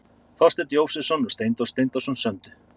Þorsteinn Jósepsson og Steindór Steindórsson sömdu.